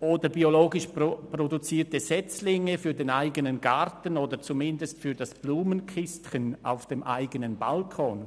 oder biologisch produzierte Setzlinge für den eigenen Garten oder zumindest für das Blumenkistchen auf dem Balkon?